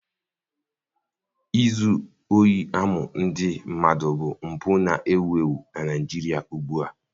Izu ohi amụ ndị mmadụ bụ mpụ na-ewu ewu na Naijiria ugbu a.